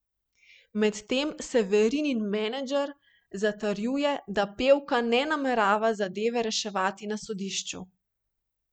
Medtem Severinin menedžer zatrjuje, da pevka ne namerava zadeve reševati na sodišču.